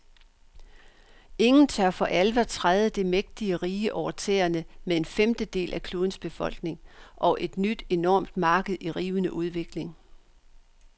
Ingen tør for alvor træde det mægtige rige over tæerne med en femtedel af klodens befolkning og et nyt enormt marked i rivende udvikling.